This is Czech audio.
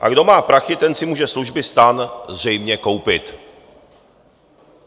A kdo má prachy, ten si může služby STAN zřejmě koupit.